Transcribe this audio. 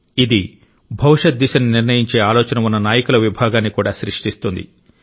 ఇది భవిష్యత్ దిశను నిర్ణయించే ఆలోచన ఉన్న నాయకుల విభాగాన్ని కూడా సృష్టిస్తుంది